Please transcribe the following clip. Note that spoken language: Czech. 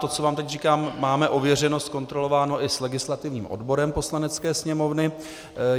To, co vám teď říkám, máme ověřeno, zkontrolováno i s legislativním odborem Poslanecké sněmovny.